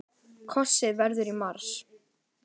Kosið verður í mars.